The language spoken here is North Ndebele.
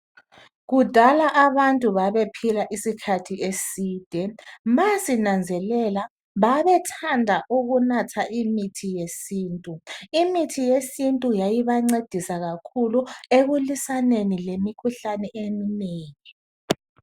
Kudala abantu babephila isikhathi eside. Ma sinanzelela babethanda ukunatha imithi yesiNtu. Limithi yayibancedisa kakhulu ekulwisaneni lemikhuhlane eminengi.